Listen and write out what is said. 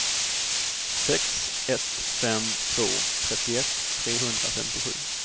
sex ett fem två trettioett trehundrafemtiosju